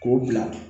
K'o bila